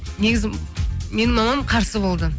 негізі менің мамам қарсы болды